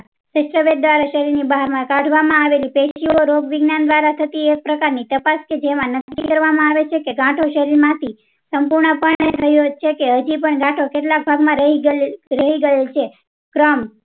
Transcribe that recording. સેસ્ટ્રેવેધ દ્વારા શરીર બહાર માં કાદવમાં આવેલી રોગ વિજ્ઞાયન દ્વારા થતી તપાસ કે જેમાં નક્કી કરવામાં આવે છે. કાંટો શરીર માંથી સંપૂર્ણ થયો છે. હજી પણ કેટલાક ભાગ માં રહી ગયેલી